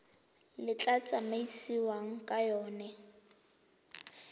le tla tsamaisiwang ka yona